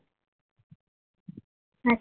સાચી વાત છે